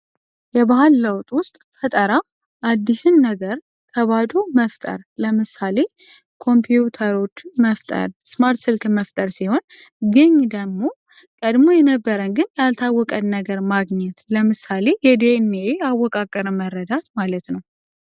የባህል ለውጥ ውስጥ ፈጠራ አዲሱን ነገር መፍጠር ለምሳሌ ኮምፒዩተሮችን መፍጠር ስማርት ስልኮችን መፍጠር ሲሆን ይህ ደግሞ ቀድሞ የነበረን ግን ያልታወቀ ነገርን ማግኘት ለምሳሌ የድኤንኤ አወቃቀርን መረዳት ማለት ነው።